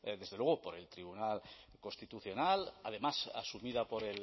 desde luego por el tribunal constitucional además asumida por